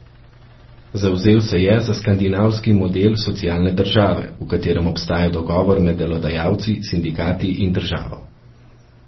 Zavzel se je za skandinavski model socialne države, v katerem obstaja dogovor med delodajalci, sindikati in državo.